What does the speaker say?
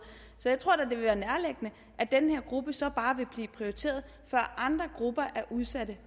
så jeg tror da det vil være nærliggende at den her gruppe så bare vil blive prioriteret før andre grupper af udsatte